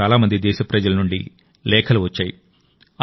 నాకు చాలా మంది దేశప్రజల నుండి లేఖలు వచ్చాయి